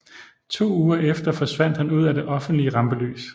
To uger efter forsvandt han ud af det offentlige rampelys